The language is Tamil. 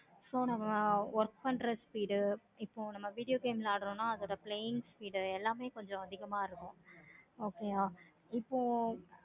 so நம்ம work பண்ற speed உ அதோட plain speed எல்லாமே கொஞ்சம் அதிகமா இருக்கும். okay வ இப்போ